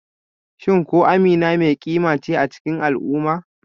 Shin ko Amina mai kima ce a cikin al'umma?